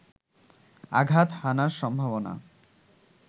আঘাত হানার সম্ভাবনা